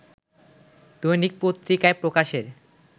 দৈনিক পত্রিকায় প্রকাশের